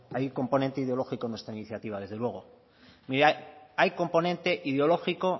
hay un componente ideológico en nuestra iniciativa desde luego hay componente ideológico